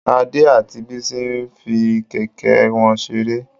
Ade àti Bisi n fí kẹkẹ wọn seré.